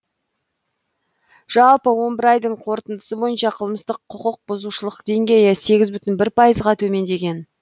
жалпы он бір айдың қорытындысы бойынша қылмыстық құқықбұзушылық деңгейі сегіз бүтін бір пайызға төмендеген